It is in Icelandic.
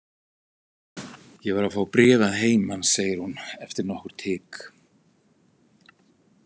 Ég var að fá bréf að heiman, segir hún eftir nokkurt hik.